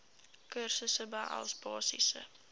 kursusse behels basiese